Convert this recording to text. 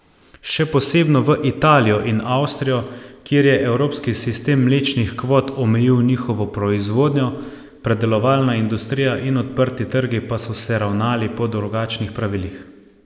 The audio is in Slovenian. Še posebno v Italijo in Avstrijo, kjer je evropski sistem mlečnih kvot omejil njihovo proizvodnjo, predelovalna industrija in odprti trgi pa so se ravnali po drugačnih pravilih.